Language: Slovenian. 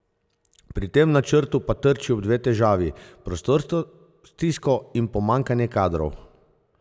Pri tem načrtu pa trči ob dve težavi, prostorsko stisko in pomanjkanje kadrov.